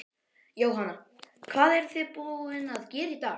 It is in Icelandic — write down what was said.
Jóhanna: Hvað eruð þið búin að gera í dag?